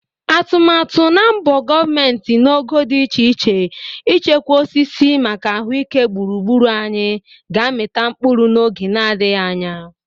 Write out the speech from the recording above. Atụmatụ na mbọ gọvment n'ogo dị iche iche ichekwa osisi maka ahụike gburugburu anyị ga-amịta mkpụrụ n'oge nadịghị anya.